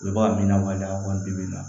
Olu b'a min na wali a ka wari bi min na